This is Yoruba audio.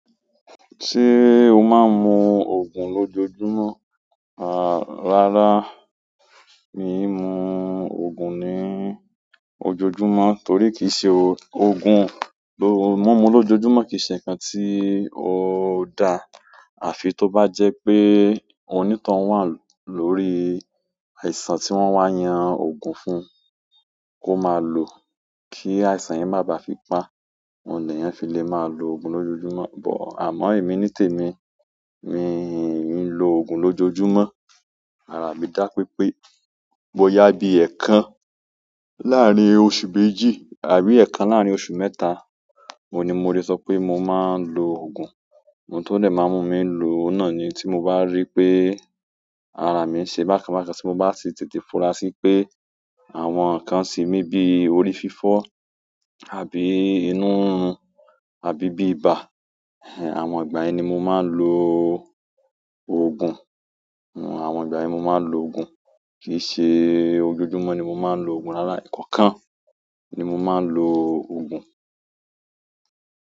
Ṣé o máa ń mu ògùn lójojúmọ́? Àá rárá, mi ò mú ògùn ní ojojúmọ́ torí kì í ṣe òó, ògùn ló, mumu lójojúmọ́ kì í ṣe ǹkan tí ó dá. Àfi tó bá jẹ́ pé onítọhun wà lórí àìsàn tí wọ́n wá yan ògùn fún, kó máa lòó kí àìsàn yẹn má bà á fi pa. Oun lè yàn fi lè máa lo ògùn lójojúmọ́. Bọ̀ àmọ́ èmi nítèmi, mi ò ní ń lo ògùn lójojúmọ́. Árá, mi dá pé pé bóyá bí ẹ̀kan láàrin oṣù méjì àbí ẹ̀kan láàrin oṣù mẹ́ta, oun ni mo lè sọ pé mo máa ń lo. Ògùn. Ohun tó dẹ má mú mi lo òun náà ni tí mo bá rí pé ara mi ń ṣe bákan bákan, tí mo bá sì tètè fura sí pé àwọn nǹkan se mí bí i orí fífọ́ àbí inú rirun àbí bí ibà. Àwọn ìgbà yẹn ni mo máa ń lo ògùn. Àwọn ìgbà ẹni mo máa ń lo. Ògùn. Kì í ṣe ojojúmọ́ ni mo máa ń lo. Ògùn. Rárá, ẹkọọkan ni mo máa ń lo ògùn.